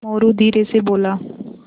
मोरू धीरे से बोला